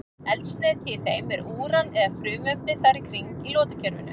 Eldsneyti í þeim er úran eða frumefni þar í kring í lotukerfinu.